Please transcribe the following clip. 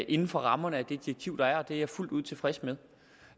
inden for rammerne af det direktiv der er og det er jeg fuldt ud tilfreds med